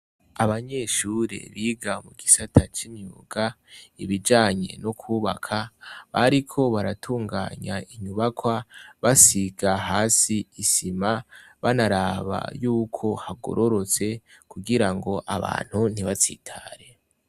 Abanyeshuri biga mu gisata c'imyuga ibijanye no kubaka bariko baratunganya inyubakwa basiga hasi isima banaraba yuko hagororotse kugira ngo abantu ntibatsitare.